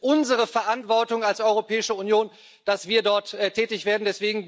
Ich finde, es ist unsere Verantwortung als Europäische Union, dass wir dort tätig werden.